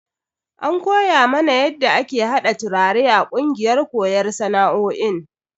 An koya mana yadda ake hada turare a kungiyar koyon sana'o'in.